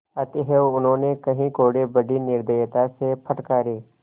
अतएव उन्होंने कई कोडे़ बड़ी निर्दयता से फटकारे